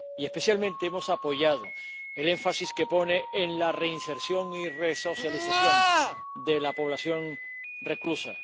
Y especialmente hemos apoyado el énfasis que pone en la reinserción y la resocialización de la población reclusa.